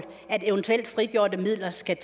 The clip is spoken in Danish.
skal